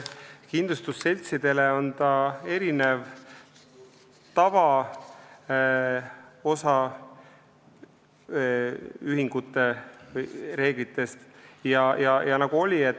Kindlustusseltside puhul erineb see tavaosaühingute kohta kehtivatest reeglitest.